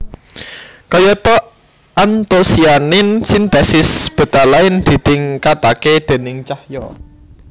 Kayata antosianin sintesis betalain ditingkatake déning cahya